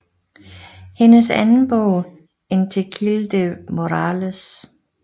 Hendes anden bog In Tequil de Morrales